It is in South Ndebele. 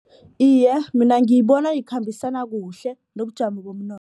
Iye, mina ngiyibona ikhambisana kuhle nobujamo